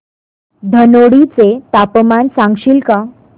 धनोडी चे तापमान सांगशील का